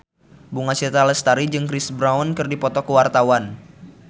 Bunga Citra Lestari jeung Chris Brown keur dipoto ku wartawan